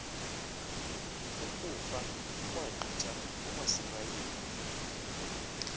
ukufa kwagqitha kumasirayeli